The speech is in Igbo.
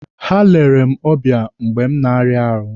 Ha lere m ọbịa mgbe m na-arịa ahụ.